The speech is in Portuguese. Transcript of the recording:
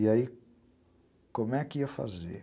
E aí, como é que ia fazer?